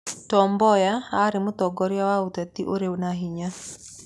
Tom Mboya aarĩ mũtongoria wa ũteti ũrĩ na hinya.